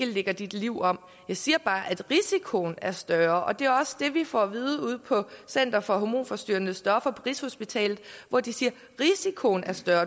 lægger dit liv om jeg siger bare at risikoen er større det er også det vi får at vide ude på center for hormonforstyrrende stoffer på rigshospitalet hvor de siger at risikoen er større